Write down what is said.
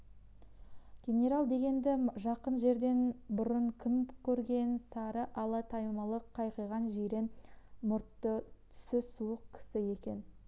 генерал дегенді жақын жерден бұрын кім көрген сары ала түймелі қайқиған жирен мұртты түсі суық кісі екен